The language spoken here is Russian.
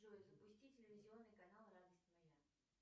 джой запусти телевизионный канал радость моя